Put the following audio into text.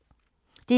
DR1